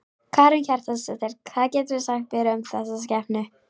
Karen Kjartansdóttir: Hvað geturðu sagt mér um þessa skepnu?